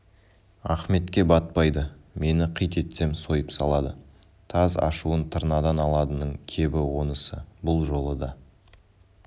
ахметке батпайды мені қит етсем сойып салады таз ашуын тырнадан аладының кебі онысы бұл жолы да